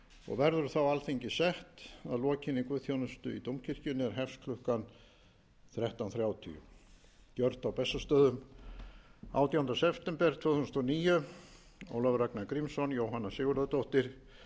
og verður þá alþingi sett að lokinni guðsþjónustu í dómkirkjunni er hefst klukkan þrettán þrjátíu gjört á bessastöðum átjánda september tvö þúsund og níu ólafur ragnar grímsson jóhanna sigurðardóttir